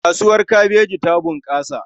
Kasuwar kabeji ta bunƙasa.